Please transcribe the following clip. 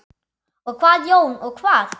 Og hvað Jón, og hvað?